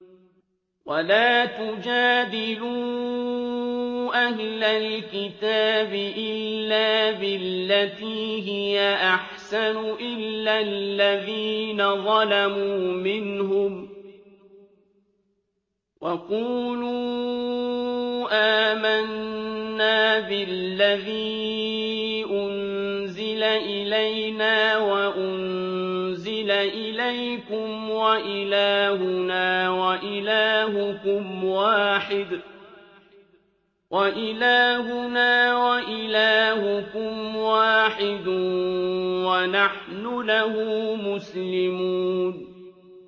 ۞ وَلَا تُجَادِلُوا أَهْلَ الْكِتَابِ إِلَّا بِالَّتِي هِيَ أَحْسَنُ إِلَّا الَّذِينَ ظَلَمُوا مِنْهُمْ ۖ وَقُولُوا آمَنَّا بِالَّذِي أُنزِلَ إِلَيْنَا وَأُنزِلَ إِلَيْكُمْ وَإِلَٰهُنَا وَإِلَٰهُكُمْ وَاحِدٌ وَنَحْنُ لَهُ مُسْلِمُونَ